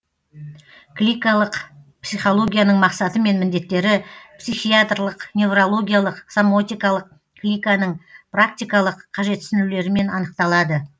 кликалық психологияның мақсатымен міндеттері психиатрлық неврологиялық сомотикалық кликаның практикалық қажетсінулерімен анықталады